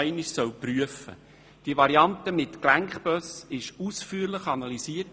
Meine Damen und Herren, diese Variante wurde ausführlich analysiert.